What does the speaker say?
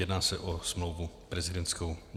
Jedná se o smlouvu prezidentskou.